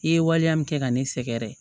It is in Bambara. I ye waleya min kɛ ka ne sɛgɛrɛ